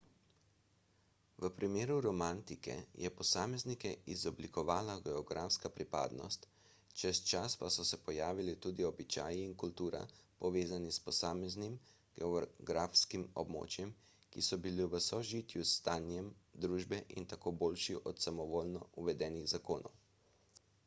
v primeru romantike je posameznike izoblikovala geografska pripadnost čez čas pa so se pojavili tudi običaji in kultura povezani s posameznim geografskim območjem ki so bili v sožitju s stanjem družbe in tako boljši od samovoljno uvedenih zakonov